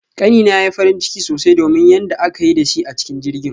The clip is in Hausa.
Kani na yayi farin ciki sosai domin yanda aka yi da shi a cikin jirgin